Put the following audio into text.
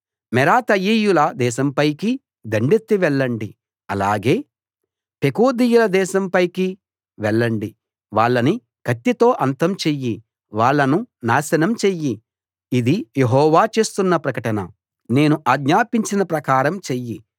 మెరాతయీయుల దేశంపైకి దండెత్తి వెళ్ళండి అలాగే పెకోదీయుల దేశం పైకి వెళ్ళండి వాళ్ళని కత్తితో అంతం చెయ్యి వాళ్ళను నాశనం చెయ్యి ఇది యెహోవా చేస్తున్న ప్రకటన నేను ఆజ్ఞాపించిన ప్రకారం చెయ్యి